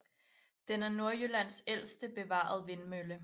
Den er Nordjyllands ældste bevarede vindmølle